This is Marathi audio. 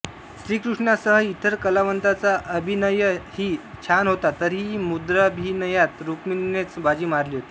श्रीकृष्णासह इतर कलावंतांचा अभिनयही छान होता तरीही मुद्राभिनयात रुक्मीनेच बाजी मारली होती